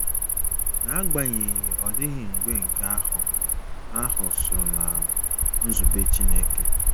Na agbanyeghị, ọ dịghị mgbe nke ahụ ahụ so ná nzube Chineke.